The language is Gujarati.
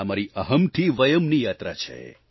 આ મારી અહમ થી વયમની યાત્રા છે